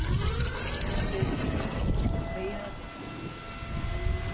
FRIÐRIK: Segi það seinna.